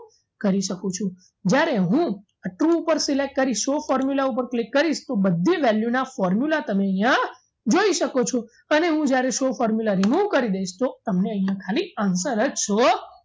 કરી શકું છું જ્યારે હું આ true ઉપર select કરીશ show formula ઉપર click કરીશ તો બધી value ના formula તમે અહીંયા જોઈ શકો છો અને હું જ્યારે show formula remove કરી દઈશ તો તમને અહીંયા ખાલી answer જ show